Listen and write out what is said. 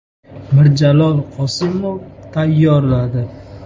Mirjalol Qosimov tayyorladi .